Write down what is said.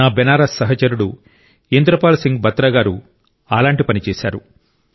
నా బెనారస్ సహచరుడు ఇంద్రపాల్ సింగ్ బత్రా గారు అలాంటి పని చేశారు